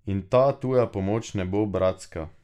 In ta tuja pomoč ne bo bratska.